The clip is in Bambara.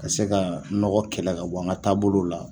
Ka se ka nɔgɔ kɛlɛ ka bɔ an ka taabolo la